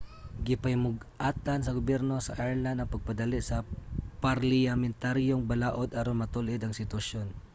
gipahimug-atan sa gobyerno sa ireland ang pagpadali sa parliyamentaryong balaod aron matul-id ang sitwasyon